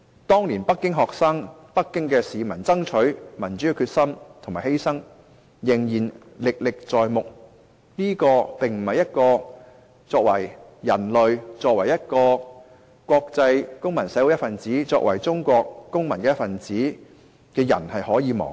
當年北京學生和北京市民爭取民主的決心和犧牲，仍然歷歷在目，這不是我們作為人類、作為國際公民社會一分子、作為中國公民一分子可以忘記。